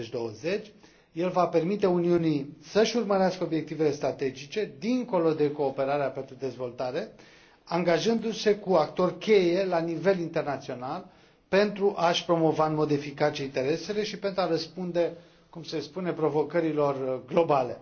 2020. El va permite Uniunii să își urmărească obiectivele strategice, dincolo de cooperarea pentru dezvoltare, angajându se cu actori cheie la nivel internațional, pentru a și promova în mod eficace interesele și pentru a răspunde, cum se spune, provocărilor globale.